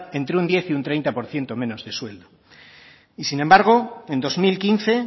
entre un diez y treinta por ciento menos de sueldo y sin embargo en dos mil quince